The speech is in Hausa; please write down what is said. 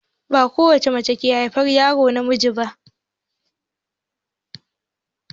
Ba ko wacce mace ke haifar yaro namiji ba.